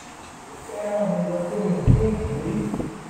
níbo ló fẹ́ẹ́ rán mi lọ tí mi ò tí ì dé rí